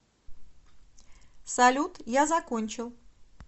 салют я закончил